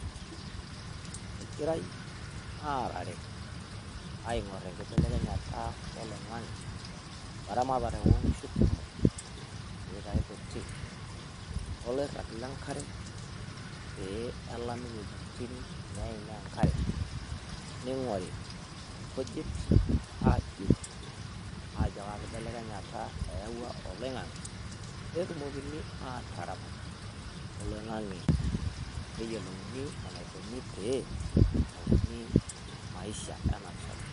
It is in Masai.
Egirai arare aing'or enkibelekenyata oloing'ang'e o eramatare oo nkishu kumok, peitai kutii, oloirag le nkare, pee elami wuejitin naimia enkare, neing'ori inkujit aajur ajo kaa kibelekenyata eawua oloing'ang'e, pee etumokini ataramat oloing'ang'e pee eyolouni eneikuni pee, emokuni maisha ena rishata.